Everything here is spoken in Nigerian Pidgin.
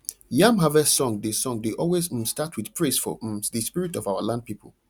yam harvest song dey song dey always um start with praise for um the spirit of our land people